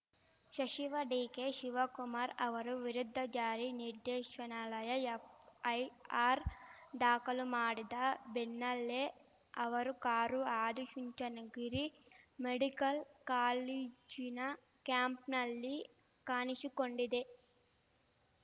ಶಚಿವ ಡಿಕೆ ಶಿವಕುಮಾರ್‌ ಅವರ ವಿರುದ್ಧ ಜಾರಿ ನಿರ್ದೇಶನಾಲಯ ಎಫ್‌ಐಆರ್‌ ದಾಖಲು ಮಾಡಿದ ಬೆನ್ನಲ್ಲೇ ಅವರು ಕಾರು ಆದಿಚುಂಚನಗಿರಿ ಮೆಡಿಕಲ್‌ ಕಾಲೇಜಿನ ಕ್ಯಾಂಪನ್‌ನಲ್ಲಿ ಕಾಣಿಶಿಕೊಂಡಿದೆ